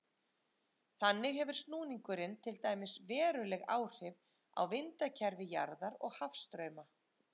Þannig hefur snúningurinn til dæmis veruleg áhrif á vindakerfi jarðar og hafstrauma.